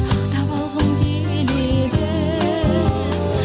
ақтап алғым келеді